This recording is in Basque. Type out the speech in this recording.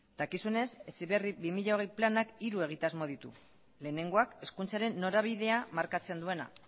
dakizuenez heziberri bi mila hogei planak hiru egitasmo ditu lehenengoak hezkuntzaren norabidea markatzen duena